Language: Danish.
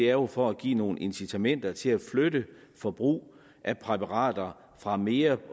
er jo for at give nogle incitamenter til at flytte forbrug af præparater fra mere